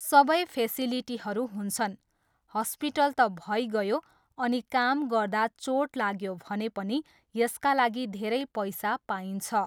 सबै फेसिलिटीहरू हुन्छन्, हस्पिटल त भइगयो अनि काम गर्दा चोट लाग्यो भने पनि यसका लागि धेरै पैसा पाइन्छ।